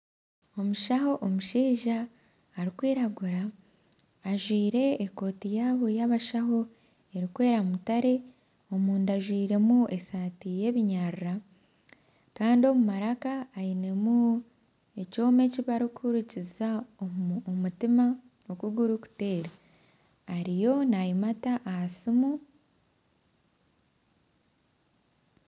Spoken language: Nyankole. Omushaho omushaija arikwiragura ajwaire ekooti yaabo y'abashaho erikwera mutare omunda ajwairemu esaati y'ebinyarara kandi omu maraka ainemu ekyoma ekibarikuhurikiza oku omutima gurikuteera ariyo nayimata aha siimu.